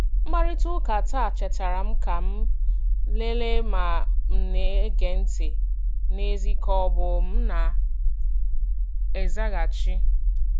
Mkparịta ụka taa chetaara m ka m lelee ma m̀ na-ege ntị n'ezie ka ọ bụ na m na-azaghachi.